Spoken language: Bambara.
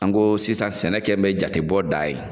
An go sisan sɛnɛ kɛ mɛ jatebɔ da ye